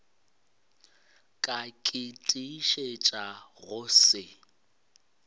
ka ke tiišetša go se